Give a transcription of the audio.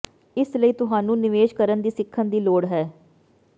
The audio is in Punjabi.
ਇਸ ਲਈ ਤੁਹਾਨੂੰ ਨਿਵੇਸ਼ ਕਰਨ ਦੀ ਸਿੱਖਣ ਦੀ ਲੋੜ ਹੈ